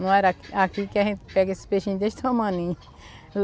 Não era aqui que a gente pega esses peixinhos desse tamaninho.